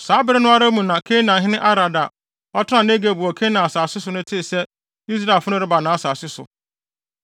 Saa bere no ara mu na Kanaanhene Arad a ɔtenaa Negeb wɔ Kanaan asase so no tee sɛ Israelfo no reba nʼasase so.